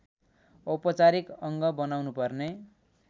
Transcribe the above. औपचारिक अङ्ग बनाउनुपर्ने